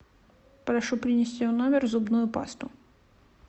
прошу принести в номер зубную пасту